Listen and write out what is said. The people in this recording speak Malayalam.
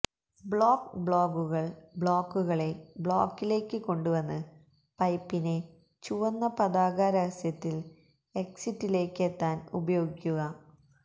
ബ്ളോക്ക് ബ്ലോഗ്ഗുകൾ ബ്ലോക്കുകളെ ബ്ലോക്കിലേക്ക് കൊണ്ടുവന്ന് പൈപ്പിനെ ചുവന്ന പതാക രഹസ്യത്തിൽ എക്സിറ്റിലേക്ക് എത്താൻ ഉപയോഗിക്കുക